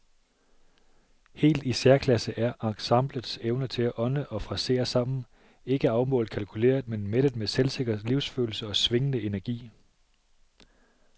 Helt i særklasse er ensemblets evne til at ånde og frasere sammen, ikke afmålt kalkuleret men mættet med selvsikker livsfølelse og swingende energi.